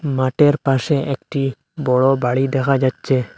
মাঠের পাশে একটি বড় বাড়ি দেখা যাচ্ছে।